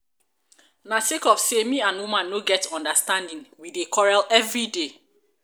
na sake of sey um me and woman no get understanding we dey um quarrel everyday.